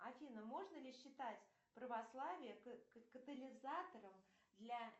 афина можно ли считать православие катализатором для